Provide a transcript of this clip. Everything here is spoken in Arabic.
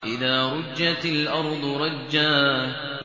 إِذَا رُجَّتِ الْأَرْضُ رَجًّا